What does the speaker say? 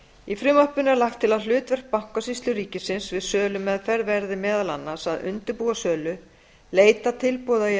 í frumvarpinu er lagt til að hlutverk bankasýslu ríkisins við sölumeðferð verði meðal annars að undirbúa sölu leita tilboða í